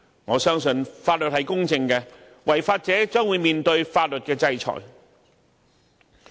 我相信法律是公正的，違法者將面對法律制裁。